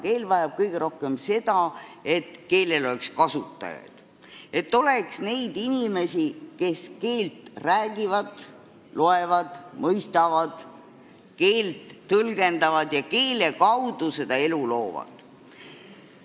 Keel vajab kõige rohkem seda, et oleks kasutajaid – et oleks neid inimesi, kes seda keelt räägivad, loevad, mõistavad ja tõlgendavad ning selle keele kaudu elu loovad.